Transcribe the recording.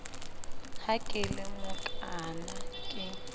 ha ke le mokaana ke